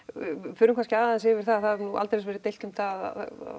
förum kannski aðeins yfir það það hefur nú aldeilis verið deilt um það